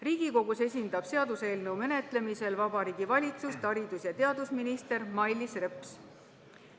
Riigikogus esindab seaduseelnõu menetlemisel Vabariigi Valitsust haridus- ja teadusminister Mailis Reps.